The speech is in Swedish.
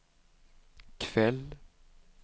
kväll